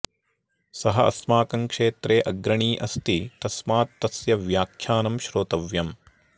सः अस्माकं क्षेत्रे अग्रणी अस्ति तस्मात् तस्य व्याख्यानं श्रोतव्यम्